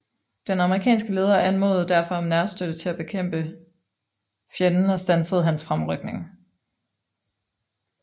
Den amerikanske leder anmodede derfor om nærstøtte til at nedkæmpe fjenden og standse hans fremrykning